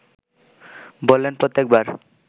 বললেন প্রত্যেক বার